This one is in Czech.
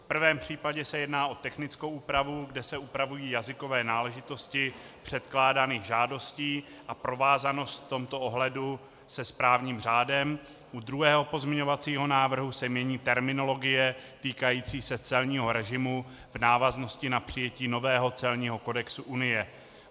V prvém případě se jedná o technickou úpravu, kde se upravují jazykové náležitosti předkládaných žádostí a provázanost v tomto ohledu se správním řádem, u druhého pozměňovacího návrhu se mění terminologie týkající se celního režimu v návaznosti na přijetí nového celního kodexu Unie.